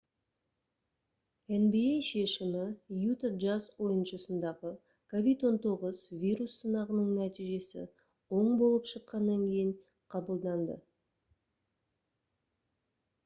nba шешімі utah jazz ойыншысындағы covid-19 вирус сынағының нәтижесі оң болып шыққаннан кейін қабылданды